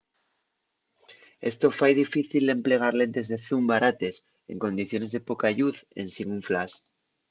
esto fai difícil l’emplegar lentes de zoom barates en condiciones de poca lluz ensin un flash